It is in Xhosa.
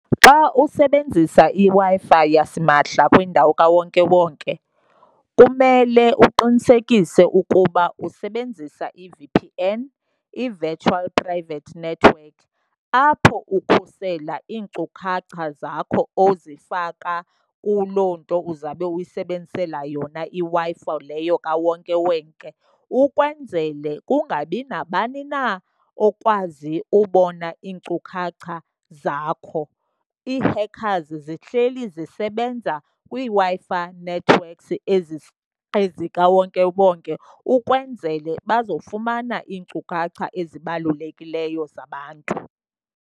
Xa usebenzisa iWi-Fi yasimahla kwindawo kawonkewonke kumele uqinisekise ukuba usebenzisa i-V_P_N, i-virtual private network, apho ukhusela iinkcukacha zakho ozifaka kuloo nto uzawube ukuyisebenzisela yona iWi-Fi leyo kawonkewonke ukwenzele kungabi nabani na okwazi ubona iinkcukacha zakho. Ii-hackers zihleli zisebenza kwiiWi-Fi networks ezikawonkewonke ukwenzele bazofumana iinkcukacha ezibalulekileyo zabantu.